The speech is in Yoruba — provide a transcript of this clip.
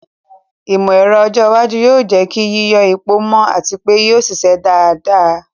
Ìmọ̀ ẹ̀rọ ọjọ́ iwájú yóò jẹ́ kí yíyọ epo mọ́ àti pé yóò ṣiṣẹ́ dáadáa.